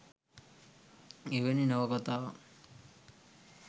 එවැනි නවකතාවක්